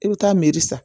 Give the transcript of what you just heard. I bɛ taa san